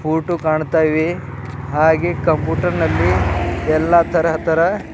photo ಕಾಣ್ತಾ ಇವೆ ಹಾಗೆ ಕಂಪ್ಯೂಟರ್ನಲ್ಲಿ ಎಲ್ಲ ತರಹ ತರ--